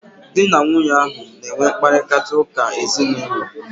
Dị na nwunye ahu na enwe mkparịta ụka ezinaụlọ